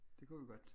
Det kunne vi godt